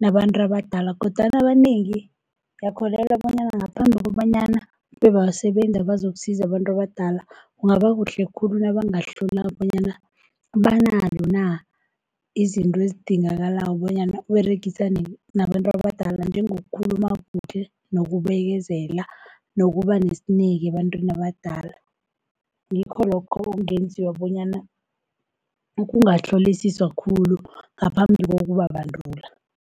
nabantu abadala kodwana abanengi ngiyakholelwa, bonyana ngaphambi kobanyana bebasebenze bazokusiza abantu abadala. Kungaba kuhle khulu nabangahlolwa bonyana banazo na izinto ezidingakalako bonyana baberegisane nabantu abadala njengoku khuluma, kuhle nokubekezela, nokuba nesineke ebantwini abadala. Ngikho lokho okungenziwa bonyana ukubahlolisisa khulu ngaphambi kokubabandula.